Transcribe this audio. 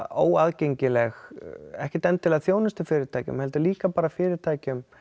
óaðgengileg ekkert endilega þjónustu fyrirtækjum heldur líka bara fyrirtækjum